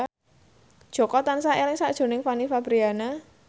Jaka tansah eling sakjroning Fanny Fabriana